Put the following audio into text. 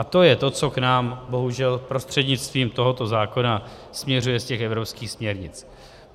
A to je to, co k nám bohužel prostřednictvím tohoto zákona směřuje z těch evropských směrnic.